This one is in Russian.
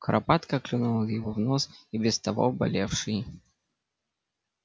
куропатка клюнула его в нос и без того болевший